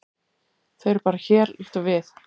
Þau eru bara hér, líkt og við.